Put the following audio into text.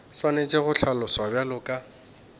swanetše go hlaloswa bjalo ka